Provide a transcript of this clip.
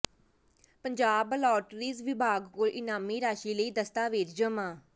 Punjab lotteries ਵਿਭਾਗ ਕੋਲ ਇਨਾਮੀ ਰਾਸ਼ੀ ਲਈ ਦਸਤਾਵੇਜ਼ ਜਮ੍ਹਾਂ